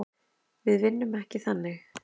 Við vinnum ekki þannig.